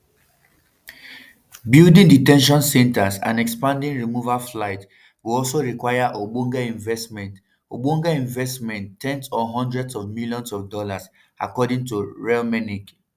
building de ten tion centres and expanding removal flights go also require ogbonge investment ogbonge investment ten s or hundreds of millions of dollars according to reichlinmelnick